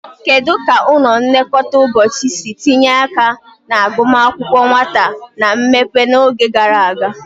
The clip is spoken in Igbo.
Kedu ka ụlọ nlekọta ụbọchị si tinye aka na agụmakwụkwọ nwata na mmepe n'oge gara aga?